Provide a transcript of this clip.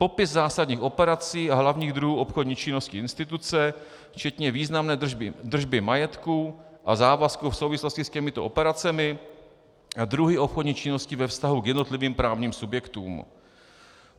Popis zásadních operací a hlavních druhů obchodní činnosti instituce, včetně významné držby majetku a závazků v souvislosti s těmito operacemi a druhy obchodních činností ve vztahu k jednotlivým právním subjektům.